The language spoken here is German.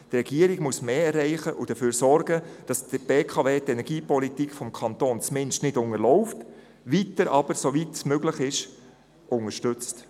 Die Regierung muss mehr erreichen und dafür sorgen, dass die BKW die Energiepolitik des Kantons zumindest nicht unterläuft und sie soweit wie möglich unterstützt.